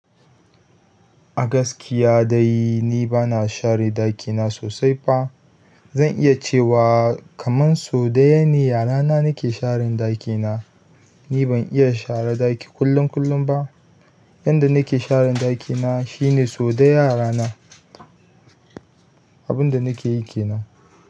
A gaskiya dai ni bana share ɗakina sosai ba. Zan iya cewa kaman sau ɗaya ne a rana nake sharen ɗaki na. Ni ban iya shara ɗaki kullum kullum ba. Yanda nake share ɗaki na shine sau ɗaya a rana. Abun da na ke yi ke nan.